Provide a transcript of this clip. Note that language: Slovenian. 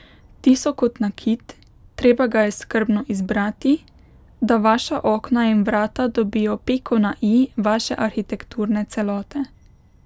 Ti so kot nakit, treba ga je skrbno izbrati, da vaša okna in vrata dobijo piko na i vaše arhitekturne celote.